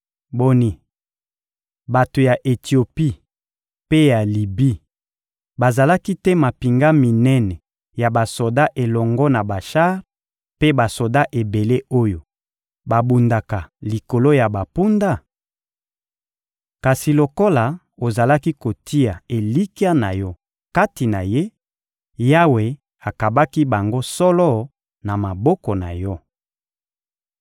Boni, bato ya Etiopi mpe ya Libi bazalaki te mampinga minene ya basoda elongo na bashar mpe basoda ebele oyo babundaka likolo ya bampunda? Kasi lokola ozalaki kotia elikya na yo kati na Ye, Yawe akabaki bango solo na maboko na yo.